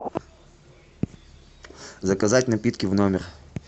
заказать напитки в номер